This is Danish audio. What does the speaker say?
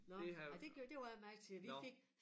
Nåh ej det gjorde jeg det var jeg meget til vi fik